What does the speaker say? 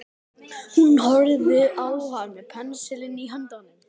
Hún horfði á hann með pensilinn í höndunum.